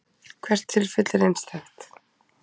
Hvert tilfelli er einstakt.